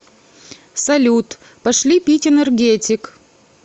салют пошли пить энергетик